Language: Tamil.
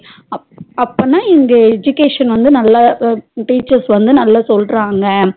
அப் அப்பனா இந்த education வந்து நல்லா teacher வந்து நல்லா சொல்றாங்க